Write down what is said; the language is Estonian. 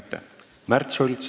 Märt Sults.